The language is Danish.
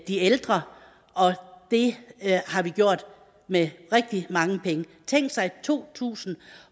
de ældre og det har vi gjort med rigtig mange penge tænk sig i to tusind